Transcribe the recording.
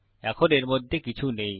এখন এর মধ্যে কিছু নেই